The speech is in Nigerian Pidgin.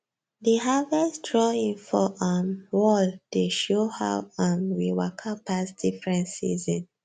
the harvest drawing for um wall dey show how um we waka pass different season